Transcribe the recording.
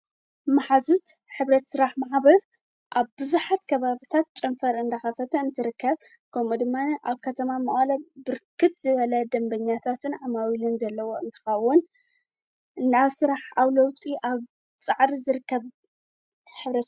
መሓዙት ኅብረት ሥራሕ ማሕበር ኣብ ብዙኃት ከባብታት ጨንፈር እንዳኻፈተ እንትርከብ ከምኡ ድማኒ ኣብ ከተማ መቐለ ብርክት ዝበሉ ደንበኛታትን ዓማዊልን ዘለዎ እንተኸዉን ናይ ኣሥራሓ ዓውይ ለውጢ ኣብ ጻዕሪ ዘርከብ ኅብረት እዩ።